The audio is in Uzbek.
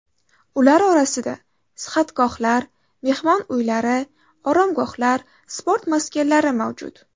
Ular orasida sihatgohlar, mehmon uylari, oromgohlar, sport maskanlari mavjud.